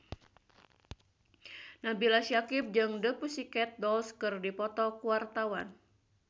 Nabila Syakieb jeung The Pussycat Dolls keur dipoto ku wartawan